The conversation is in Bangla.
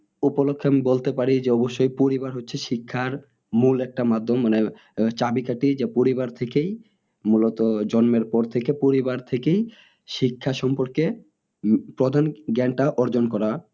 উপলক্ষে আমি বলতে পারি যে অবশ্যই পরিবার হচ্ছে শিক্ষার মূল একটা মাধ্যম মানে আহ চাবি কাঠি যা পরিবার থেকেই মূলত জন্মের পর থেকেই পরিবার থেকেই শিক্ষার সম্পর্কে প্রধান জ্ঞানটা অর্জন করা